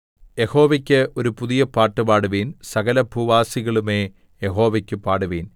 യഹോവയ്ക്ക് ഒരു പുതിയ പാട്ട് പാടുവിൻ സകലഭൂവാസികളുമേ യഹോവയ്ക്ക് പാടുവിൻ